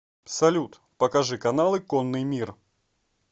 салют покажи каналы конный мир